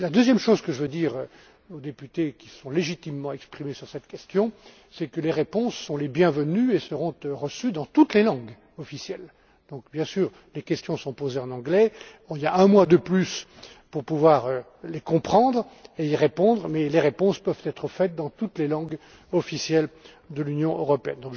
La deuxième chose que je veux dire aux députés qui se sont légitimement exprimés sur cette question, c'est que les réponses sont les bienvenues et seront reçues dans toutes les langues officielles. Bien sûr, les questions sont posées en anglais, mais nous avons prévu un mois de plus pour pouvoir les comprendre et y répondre et, je le répète, les réponses peuvent être formulées dans toutes les langues officielles de l'Union européenne.